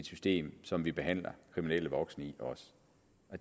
system som vi behandler kriminelle voksne i